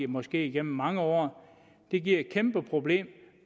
måske gennem mange år giver et kæmpe problem